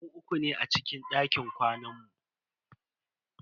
Mu uku ne a cikin dakin kwanan mu.